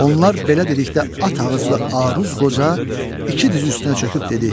Onlar belə dedikdə at ağızlı Aruz qoca iki diz üstünə çöküb dedi: